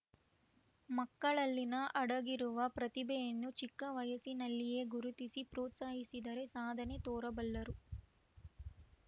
ಮಕ್ಕಳಲ್ಲಿನ ಅಡಗಿರುವ ಪ್ರತಿಭೆಯನ್ನು ಚಿಕ್ಕ ವಯಸ್ಸಿನಲ್ಲಿಯೇ ಗುರುತಿಸಿ ಪ್ರೋತ್ಸಾಹಿಸಿದರೆ ಸಾಧನೆ ತೋರಬಲ್ಲರು